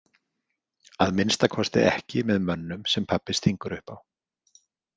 Að minnsta kosti ekki með mönnum sem pabbi stingur upp á.